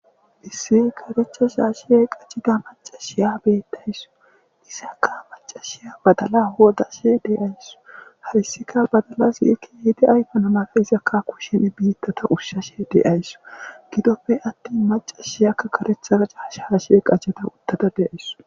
Issi karecha shaashie qacida macashiya beettayssu isakka macashiya badala hoodashe deaysu hayssika badala ziekki hidi ayfanamafe izakka kushem biittata ushshashe de'aysu gidopfe attin maca shiyakka karethaa saashhahashe qachata uttada deays.